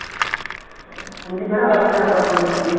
ஐந்து பேரோ ஆறு பேரோ அக்கா தங்கச்சிங்க